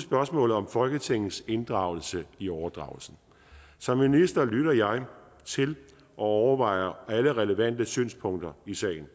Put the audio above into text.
spørgsmålet om folketingets inddragelse i overdragelsen som minister lytter jeg til og overvejer alle relevante synspunkter i sagen